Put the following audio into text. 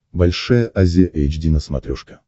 большая азия эйч ди на смотрешке